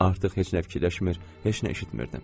Artıq heç nə fikirləşmir, heç nə eşitmirdim.